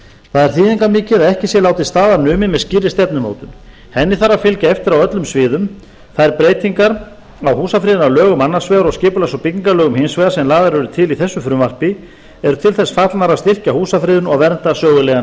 það er þýðingarmikið að ekki sé látið staðar numið með skýrri stefnumótun henni þarf að fylgja eftir á öllum sviðum þær breytingar á húsafriðunarlögum annars vegar og skipulags og byggingarlögum hins vegar sem lagðar eru til í bestu frumvarpi eru til þess fallnar að styrkja húsafriðun og vernda sögulegan